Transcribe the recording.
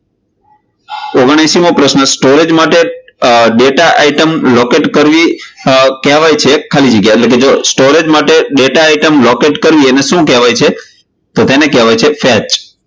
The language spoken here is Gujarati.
ઓગનાએસી મો પ્રશ્ન storage માટે data item locate કરવી એ કહેવાય છે ખાલી જગ્યા, એટલે કે storage માટે data item locate કરવી એને શું કહેવાય છે? તો તેને કહેવાય છે fatch